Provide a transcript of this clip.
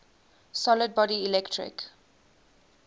solid body electric